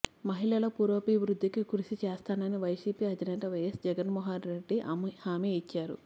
మహిళల పురోభివృద్ధికి కృషి చేస్తానని వైసిపి అధినేత వైఎస్ జగన్మోహనరెడ్డి హామీ ఇచ్చారు